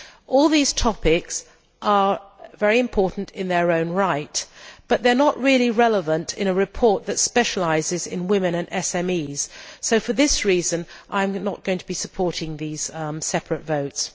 All these topics are very important in their own right, but they are not really relevant in a report that specialises in women and SMEs, so for this reason I am not going to be supporting these separate votes.